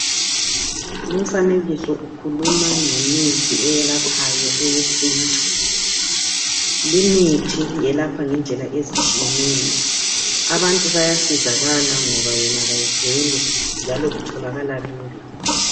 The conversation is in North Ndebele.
Lumfanekiso ukhuluma ngemithi Eyelaphayo eyesintu. Limithi yelapha ngendlela ezitshiyeneyo. Abantu bayasizakala ngoba yona kayiduli njalo itholakala lula.